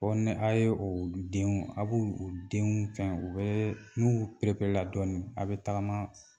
Ɔ ni a' ye u denw a bɛ denw fɛ u bɛ n'u pereperela dɔɔnin aw bɛ tagama